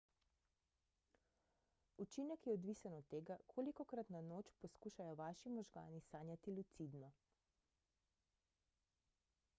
učinek je odvisen od tega kolikokrat na noč poskušajo vaši možgani sanjati lucidno